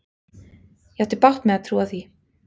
Ég átti bágt með að trúa því.